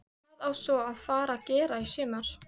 Hvað á svo að fara að gera í sumar?